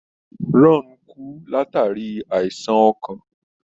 Ron kú, látàrí àìsàn ọkàn.